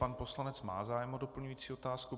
Pan poslanec má zájem o doplňující otázku.